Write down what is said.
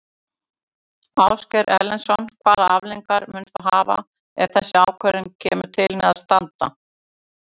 Ásgeir Erlendsson: Hvaða afleiðingar mun það hafa ef þessi ákvörðun kemur til með að standa?